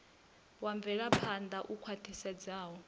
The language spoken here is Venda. wa mvelaphan ḓa u khwaṱhisedzaho